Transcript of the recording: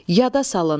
Yada salın,